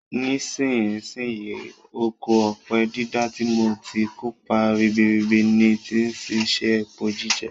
Nisínsinyí, oko ọ̀pẹ dídá ti mu ti kópa ribiribi ni ti si se epo jíjẹ